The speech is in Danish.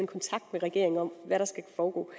kontakt med regeringen om hvad der skal foregå